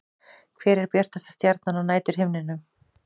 Hver er bjartasta stjarnan á næturhimninum?